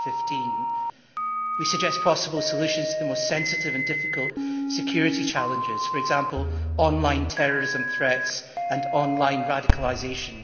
2015. We suggest possible solutions to the most sensitive and difficult security challenges for example, online terrorism threats and online radicalisation.